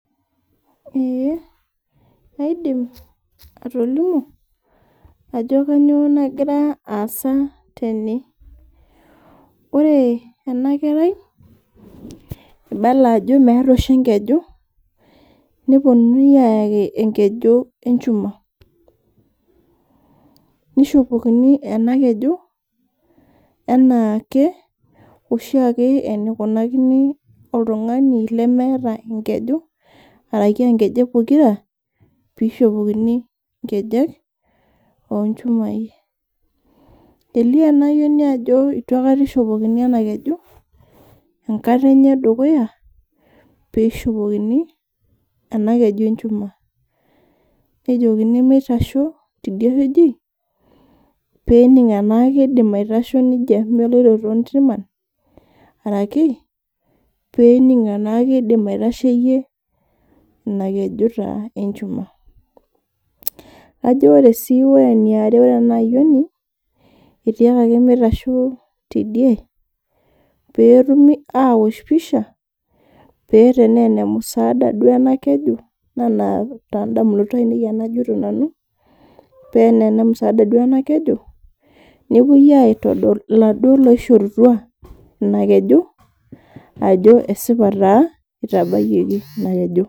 Kaidim atolimu ajo kainyoo nagira aasa tene. Ore ena kerai eibala ajo meeta oshi enkeju ,neponunui ayaki enkeju enchuma nishopokini ena keji enaake ,oshiake enikunakini oltungani lemeeta enkeju orashu nkejek pokira pee eishopokini nkejek ochumai .Elio ena ayioni ajo eitu aikata eishopokini ena keji, enkata enye edukuya pee eishopokini ena keju enchuma ,nejokini mitasho tidie weji pee ening enaa keidim aitashoo nejia meloito tontrima orashu pee ening enaa keidim aitasheyie ina keju taa enchuma. Ajo sii ore eniare ore enayioni, etiakai mitasho tidie pee etumi aosh pisha ,paa tenaa enemusaada duo ena keju ena toondamunot ainei enajito nanu ,paa tenaa enemusaada ena keju ,nepuoi aitodol laduo oishorutua ina kejo ajo esipa taa itabayioki ina keju.